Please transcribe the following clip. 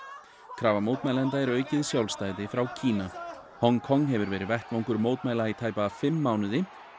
krafa mótmælenda er aukið sjálfstæði frá Kína Hong Kong hefur verið vettvangur mótmæla í tæpa fimm mánuði